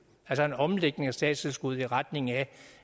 altså en omlægning af statstilskuddet i retning af